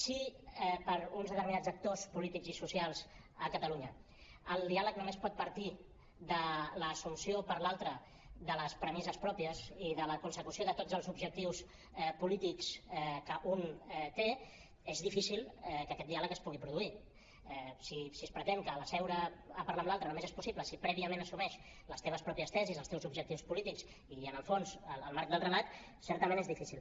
si per a uns determinats actors polítics i socials a catalunya el diàleg només pot partir de l’assumpció per l’altre de les premisses pròpies i de la consecució de tots els objectius polítics que un té és difícil que aquest diàleg es pugui produir si es pretén que seure a parlar amb l’altre només és possible si prèviament assumeix les teves pròpies tesis els teus objectius polítics i en el fons el marc del relat certament és difícil